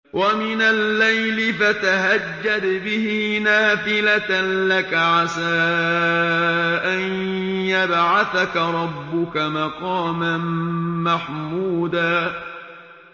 وَمِنَ اللَّيْلِ فَتَهَجَّدْ بِهِ نَافِلَةً لَّكَ عَسَىٰ أَن يَبْعَثَكَ رَبُّكَ مَقَامًا مَّحْمُودًا